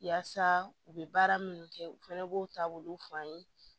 Yaasa u bɛ baara minnu kɛ u fɛnɛ b'o taabolo f'an ye